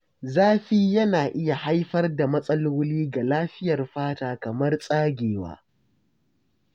Zafi yana iya haifar da matsaloli ga lafiyar fata kamar tsagewa.